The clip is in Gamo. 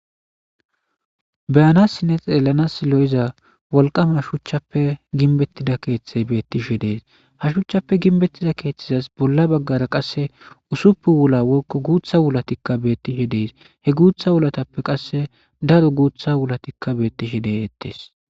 beyanasinne xeellana lo7iza wolqame hashuchchappe ginbettida keeththey bettishe dees hashuchchappe ginbettiza keeththizas bolla baggara qasse usuppu wula wolkko guutha wulatikka beettishe dees he guutha wulatappe qasse daro guutha wulatikka beettishe de'ettes